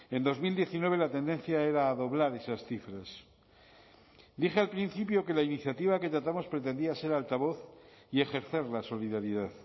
en dos mil diecinueve la tendencia era a doblar esas cifras dije al principio que la iniciativa que tratamos pretendía ser altavoz y ejercer la solidaridad